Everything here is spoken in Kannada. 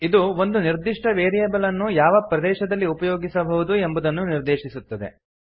ಇದು ಒಂದು ನಿರ್ದಿಷ್ಟ ವೇರಿಯೇಬಲ್ ಅನ್ನು ಯಾವ ಪ್ರದೇಶದಲ್ಲಿ ಉಪಯೋಗಿಸಬಹುದು ಎಂಬುದನ್ನು ನಿರ್ದೇಶಿಸುತ್ತದೆ